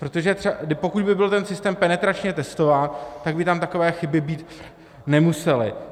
Protože pokud by byl ten systém penetračně testován, tak by tam takové chyby být nemusely.